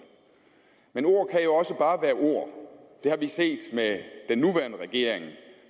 men ord kan jo også bare være ord det har vi set med den nuværende regering